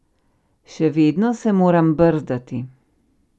Še vedno se moram brzdati.